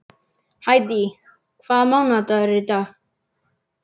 Hædý, hvaða mánaðardagur er í dag?